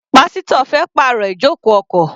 Pásítọ̀ fẹ́ pàrọ̀ ijoko ọkọ̀.